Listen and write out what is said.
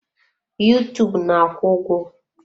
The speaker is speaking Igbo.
Yuutuub na-akwụ ụgwọ.